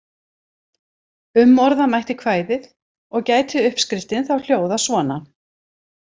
Umorða mætti kvæðið og gæti uppskriftin þá hljóðað svona: